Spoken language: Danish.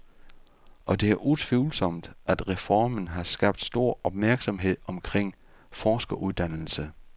Og det er utvivlsomt, at reformen har skabt stor opmærksomhed omkring forskeruddannelse.